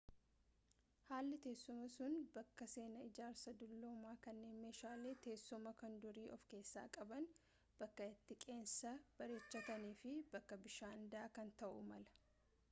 haalli teessumaa sun bakka seenaa ijaarsa dulloomaa kanneen meeshaalee teessumaa kan durii of keessaa qaban bakka itti qeensa bareechatan, fi bakka bishaan daakan ta’uu mala